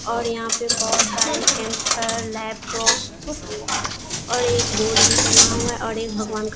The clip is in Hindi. और यहाँ पे बहुत सारे लैपटॉप और एक बोर्ड भी टँगा हुआ है और एक भगवान का --